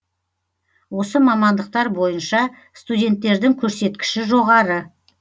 осы мамандықтар бойынша студенттердің көрсеткіші жоғары